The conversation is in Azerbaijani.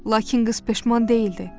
Lakin qız peşman deyildi.